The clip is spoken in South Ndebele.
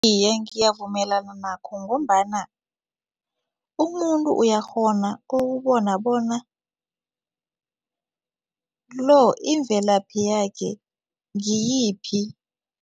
Iye, ngiyavumelana nakho ngombana umuntu uyakghona ukubona bona lo imvelaphi yakhe ngiyiphi.